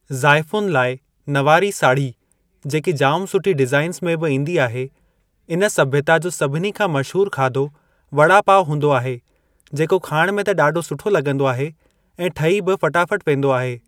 जाइफ़ुनि लाइ नवारी साढ़ी जेकी जाम सुठी डिज़ाइन्स में बि ईंदी आहे इन सभ्यता जो सभिनिनि खां मशहूर खाधो वड़ा पाव हूंदो आहे जेको खाइण में त ॾाढो सुठो लॻंदो आहे ऐं ठही बि फ़टाफ़ट वेंदो आहे।